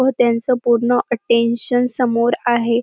व त्यांचं पूर्ण अटेंशन समोर आहे.